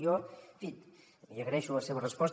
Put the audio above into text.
jo en fi li agraeixo la seva resposta